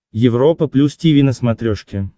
европа плюс тиви на смотрешке